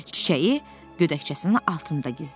Çiçəyi gödəkçəsinin altında gizlətdi.